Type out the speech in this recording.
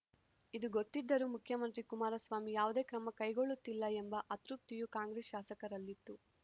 ಇದು ಗೊತ್ತಿದ್ದರೂ ಮುಖ್ಯಮಂತ್ರಿ ಕುಮಾರಸ್ವಾಮಿ ಯಾವುದೇ ಕ್ರಮ ಕೈಗೊಳ್ಳುತ್ತಿಲ್ಲ ಎಂಬ ಅತೃಪ್ತಿಯೂ ಕಾಂಗ್ರೆಸ್‌ ಶಾಸಕರಲ್ಲಿತ್ತು